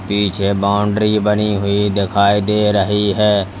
पीछे बाउंड्री बनी हुई दिखाई दे रही है।